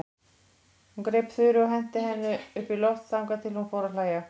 Hún greip Þuru og henti henni upp í loft þangað til hún fór að hlæja.